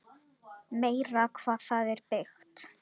Meira hvað það er byggt!